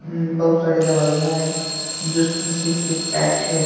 बहुत सारी दवाइयां है जो शीशे से पैक हैं।